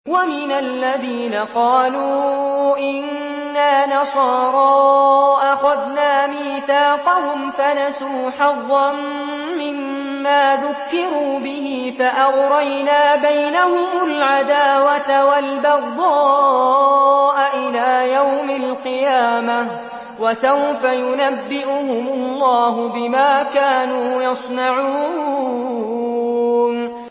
وَمِنَ الَّذِينَ قَالُوا إِنَّا نَصَارَىٰ أَخَذْنَا مِيثَاقَهُمْ فَنَسُوا حَظًّا مِّمَّا ذُكِّرُوا بِهِ فَأَغْرَيْنَا بَيْنَهُمُ الْعَدَاوَةَ وَالْبَغْضَاءَ إِلَىٰ يَوْمِ الْقِيَامَةِ ۚ وَسَوْفَ يُنَبِّئُهُمُ اللَّهُ بِمَا كَانُوا يَصْنَعُونَ